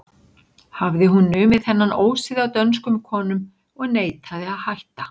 Hafði hún numið þennan ósið af dönskum konum og neitaði að hætta.